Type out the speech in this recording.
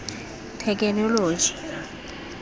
thekenoloji